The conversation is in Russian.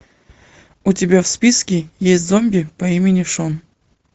у тебя в списке есть зомби по имени шон